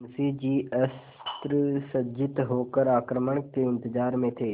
मुंशी जी अस्त्रसज्जित होकर आक्रमण के इंतजार में थे